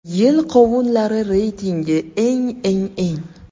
Yil qovunlari reytingi: Eng, eng, eng.